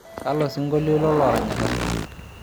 kalo sinkolio ilo loranyita